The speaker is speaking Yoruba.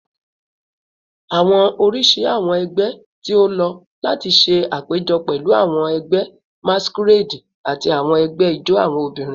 Awọn oriṣi awọn ẹgbẹ ti o lo lati ṣe apejọ pẹlu awọn ẹgbẹ masquerade ati awọn ẹgbẹ ijó awọn obinrin